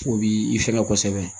O b'i fɛgɛ kosɛbɛ